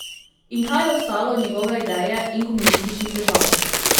In kaj je ostalo od njegove ideje in komunističnih držav?